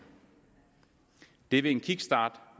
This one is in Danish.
det vil en kickstart